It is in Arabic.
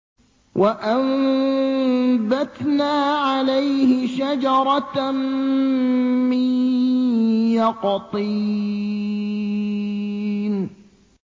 وَأَنبَتْنَا عَلَيْهِ شَجَرَةً مِّن يَقْطِينٍ